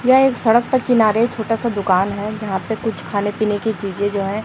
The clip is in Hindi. यह एक सड़क के किनारे छोटा सा दुकान है जहां पे कुछ खाने पीने चीजें जो हैं--